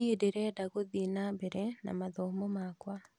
Niĩ ndĩrenda gũthii nambere na mathomo makwa